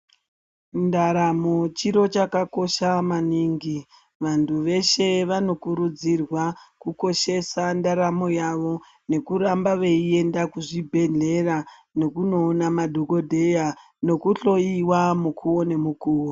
Ndaramo chiro chakakosha maningi. Vanthu veshe vanokurudzirwa kukoshesa ndaramo yavo nekutamba veienda kuzvibhehlera nekunoona madhokodheya nekuhloiwa mikuwo nemikuwo.